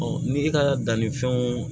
ni e ka dannifɛnw